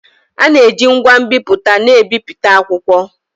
A na-eji ngwa nbipute na-ebipụta akwụkwọ